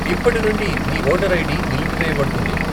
ఇప్పటి నుండి మీ ఓటర్ ఐడి నిలిపివేయబడుతుంది.